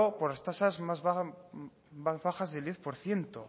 con las tasas más bajas del diez por ciento